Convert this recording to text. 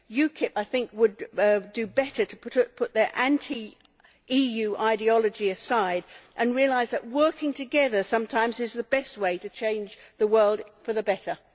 UKIP I think would do better to put their anti EU ideology aside and realise that working together sometimes is the best way to change the world for the better.